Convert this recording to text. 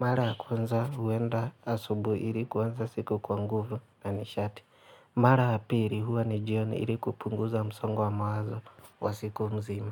Mara ya kwanza huenda asubuhi ili kuanza siku kwa nguvu na nishati. Mara ya pili huwa ni jioni ili kupunguza msongo wa mawazo wa siku mzima.